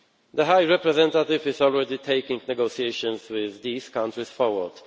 The High Representative is already taking negotiations with these countries forward.